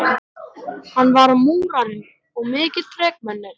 Hann var múrari og mikið þrekmenni.